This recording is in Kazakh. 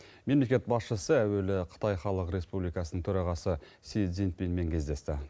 мемлекет басшысы әуелі қытай халық республикасының төрағасы си цзиньпинмен кездесті